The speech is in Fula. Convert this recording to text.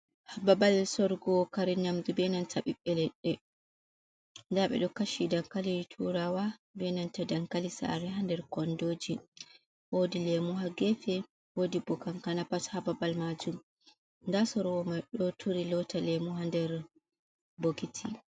Babal sorugo kare nyamdu benanta bibbe ledde, da bedo kashi dankali turawa be dankali sare ha der kondoji, wodi lemu ha gefe wodi bo kankana bat hababal majin dasorwo mai do turi lota lemu ha der bokiti.